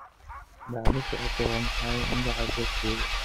dhacdo socota waa maxay magaca goobtayda